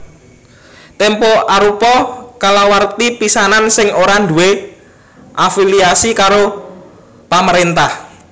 Tempo arupa kalawarti pisanan sing ora duwé afiliasi karo pamaréntah